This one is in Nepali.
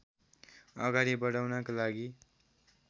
अगाडि बढाउनका लागि